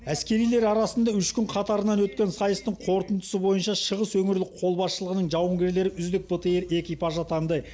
әскерилер арасында үш күн қатарынан өткен сайыстың қорытындысы бойынша шығыс өңірлік қолбасшылығының жауынгерлері үздік бтр экипажы атанды